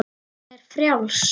Hún er frjáls.